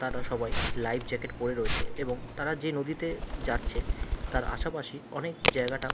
তারা সবাই life jacket পরে রয়েছে এবং তারা যে নদীতে যাচ্ছে তার আশাপাশি অনেক জায়গাটা ।